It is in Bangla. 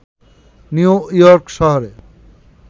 নিউ ইয়র্ক শহরে